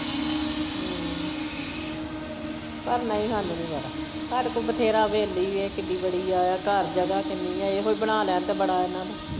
ਹਮ ਪਰ ਨਹੀਂ ਹਾਨੂੰ ਨਹੀਂ ਵਾਰਾ ਸਾਡੇ ਕੋਲ ਬਥੇਰਾ ਹਵੇਲੀ ਵੇਖ ਕਿੱਡੀ ਵੜੀ ਆ ਘਰ ਜਗਾ ਕਿੰਨੀ ਆ ਇਹੋ ਬਣਾ ਲੈਣ ਤੇ ਬੜਾ ਇਹਨਾਂ ਨੂੰ।